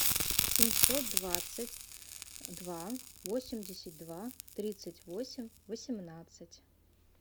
семьсот двадцать два восемьдесят два тридцать восемь восемнадцать